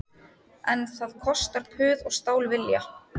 En það kostar puð og stálvilja